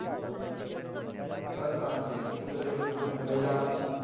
એ વાત તો સાચી જ છે તું તો જાય તો તું તો મન તો લઇ જવા નો જ છે.